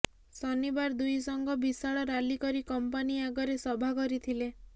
ଶନିବାର ଦୁଇ ସଂଘ ବିଶାଳ ରାଲି କରି କମ୍ପାନୀ ଆଗରେ ସଭା କରିଥିଲେ